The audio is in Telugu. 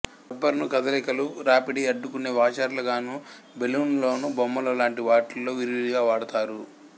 రబ్బరును కదలికలు రాపిడిని అడ్డుకునే వాషర్లుగానూ బెలూన్లలోనూ బొమ్మలు లాంటి వాటిలో విరివిగా వాడతారు